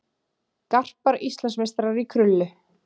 Garpar Íslandsmeistarar í krullu